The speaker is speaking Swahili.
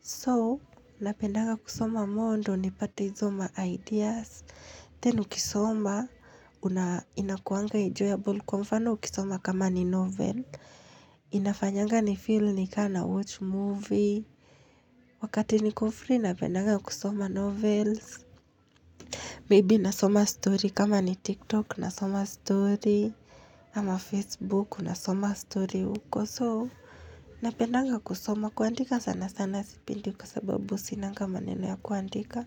So, napendanga kusoma more, ndo nipate izo ma ideas. Tena u kisoma, inakuanga enjoyable kwa mfano ukisoma kama ni novel. Inafanyanga ni fill, nikana, watch movie. Wakati ni ko free napendanga kusoma novels maybe na soma story kama ni tiktok na soma story ama facebook na soma story uko so Napendanga kusoma kuandika sana sana sipindi kwa sababu sinanga maneno ya kuandika.